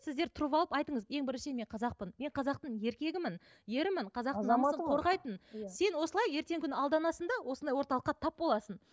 сіздер тұрып алып айтыңыз ең біріншіден мен қазақпын мен қазақтың еркегімін ерімін қазақтың қорғайтын сен осылай ертеңгі күні алданасың да осындай орталыққа тап боласың